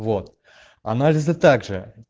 вот анализы также